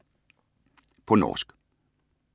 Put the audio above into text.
På norsk